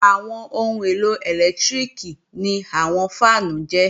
Àwọn ohun èlò ẹlẹ́lẹtíríkì ni àwọn fáànù jẹ́